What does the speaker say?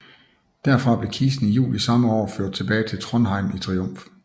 Derfra blev kisten i juli samme år ført tilbage til Trondheim i triumf